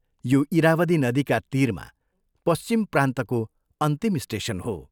यो इरावदी नदीका तीरमा पश्चिम प्रान्तको अन्तिम स्टेशन हो।